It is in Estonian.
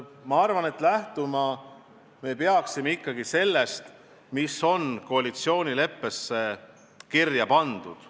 Ma arvan, et lähtuma peaks ikkagi sellest, mis on koalitsioonileppesse kirja pandud.